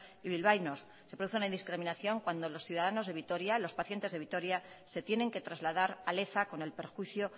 y bilbaínos se produce una discriminación cuando los ciudadanos de vitoria los pacientes de vitoria se tienen que trasladar a leza con el perjuicio